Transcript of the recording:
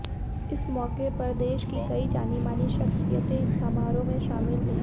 इस मौके पर देश की कई जानी मानी शख्सियतें इस समारोह में शामिल हुई